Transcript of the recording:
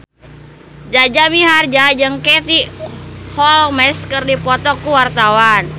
Jaja Mihardja jeung Katie Holmes keur dipoto ku wartawan